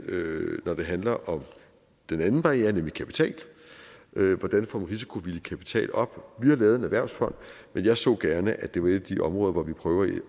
når det handler om den anden barriere nemlig kapital hvordan får man risikovillig kapital op vi har lavet en erhvervsfond men jeg så gerne at det var et af de områder hvor vi prøver at